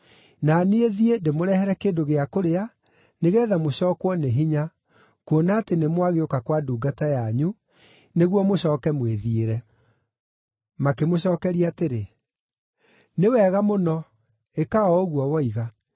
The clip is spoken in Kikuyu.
Na niĩ thiĩ ndĩmũrehere kĩndũ gĩa kũrĩa, nĩgeetha mũcookwo nĩ hinya, kuona atĩ nĩmwagĩũka kwa ndungata yanyu, nĩguo mũcooke mwĩthiĩre.” Makĩmũcookeria atĩrĩ, “Nĩ wega mũno, ĩka o ũguo woiga.”